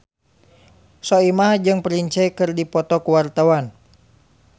Soimah jeung Prince keur dipoto ku wartawan